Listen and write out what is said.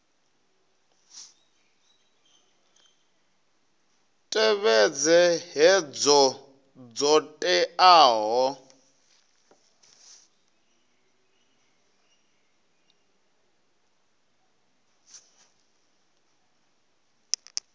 tevhedze hoea dzo teaho dza